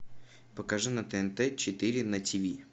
покажи на тнт четыре на ти ви